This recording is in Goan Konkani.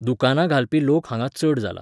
दुकांना घालपी लोक हांगा चड जाला,